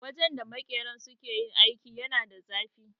Wajen da makeran suke aiki yana da zafi.